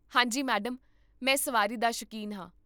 ਹਾਂ ਜੀ, ਮੈਡਮ, ਮੈਂ ਸਵਾਰੀ ਦਾ ਸ਼ੌਕੀਨ ਹਾਂ